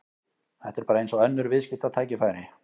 Þetta er bara eins og önnur viðskiptatækifæri.